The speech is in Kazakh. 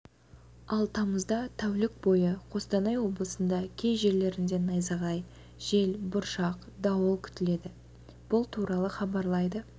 ал тамызда тәулік бойы қостанай облысында кей жерлерінде найзағай жел бұршақ дауыл күтіледі бұл туралы хабарлайды